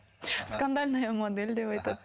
скандальная модель деп айтады